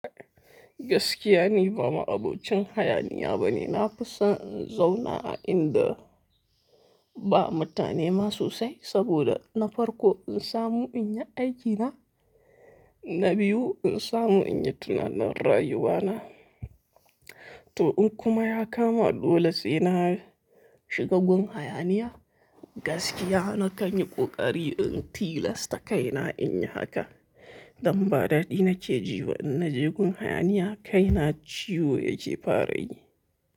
Gaskiya ni ba ma'abocin hayaniya bane, na fi son in zauna a inda ba mutane ma sosai saboda na farko in samu in yi aikina, na biyu in samu in yi tunanin rayuwana. To in kuma ya kama dole sai na shiga gun hayaniya, gaskiya na kan yi ƙoƙari in tilasta kaina in yi haka. Dan ba daɗi nake jiba in naje gun hayaniya kaina ciwo ya je fara yi.